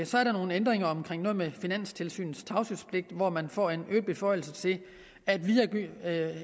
så er der nogle ændringer omkring noget med finanstilsynets tavshedspligt hvor man får en øget beføjelse til at videregive